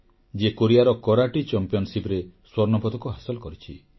ଯିଏ କୋରିଆର କରାଟେ ଚାମ୍ପିଅନସିପରେ ସ୍ୱର୍ଣ୍ଣପଦକ ହାସଲ କରିଛି